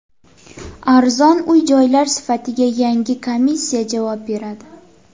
Arzon uy-joylar sifatiga yangi komissiya javob beradi.